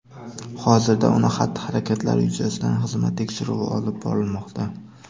Hozirda uning xatti-harakatlari yuzasidan xizmat tekshiruvi olib borilmoqda.